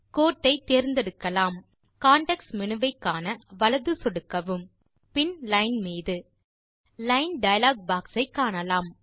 கோட்டை தேர்ந்தெடுக்கலாம் context menu வை காண வலது சொடுக்கவும் பின் லைன் மீது லைன் டயலாக் பாக்ஸ் ஐ காணலாம்